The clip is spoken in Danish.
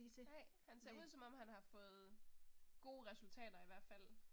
Nej. Han ser ud som om han har fået gode resultater i hvert fald